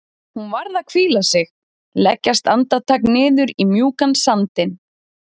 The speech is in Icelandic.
Hún varð að hvíla sig, leggjast andartak niður í mjúkan sandinn.